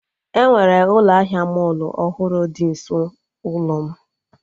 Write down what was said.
Enwere ụlọ ahịa mọlụ ọhụrụ dị nso ụlọ m